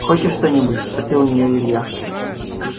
хочешь что-нибудь спросил у нее илья